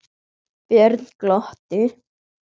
Björn glotti.